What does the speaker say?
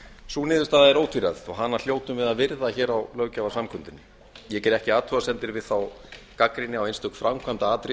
sú niðurstaða er ótvíræð og hana hljótum við að virða hér á löggjafarsamkundunni ég geri ekki athugasemdir við þá gagnrýni á einstök framkvæmdaatriði